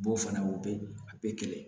B'o fana o bɛ a bɛ kɛlɛ